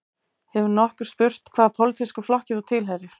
Hefur nokkur spurt hvaða pólitískum flokki þú tilheyrir